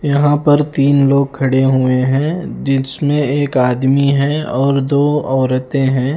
यहां पर तीन लोग खडे हुए है जिसमें एक आदमी है और दो औरते है।